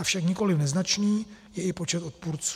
Avšak nikoli neznačný je i počet odpůrců.